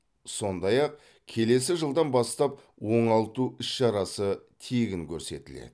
сондай ақ келесі жылдан бастап оңалту іс шарасы тегін көрсетіледі